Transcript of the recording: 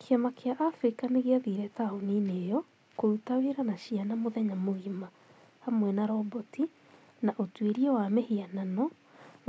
Kĩama kĩa Africa nĩ gĩathiire taũni-inĩ ĩyo kũruta wĩra na ciana mũthenya mũgima, hamwe na roboti, na ũtuĩria wa mĩhianano